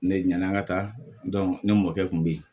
Ne ɲana n ka taa ne mɔkɛ kun bɛ yen